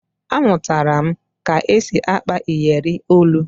Amụtara m ka e si akpa iyeri olu